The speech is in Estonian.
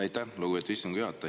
Aitäh, lugupeetud istungi juhataja!